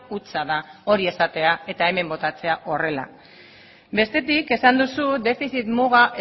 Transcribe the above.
hutsa da hori esatea eta hemen botatzea horrela bestetik esan duzu defizit muga